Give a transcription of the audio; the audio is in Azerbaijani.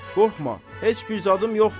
Qorxma, heç bir zadım yoxdur.